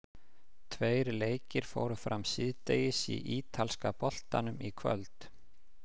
Tveir leikir fóru fram síðdegis í ítalska boltanum í kvöld.